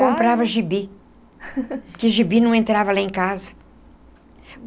Comprava gibi, porque gibi não entrava lá em casa.